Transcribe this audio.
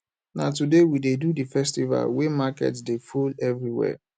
na today we dey do the do the festival wey market dey full everywhere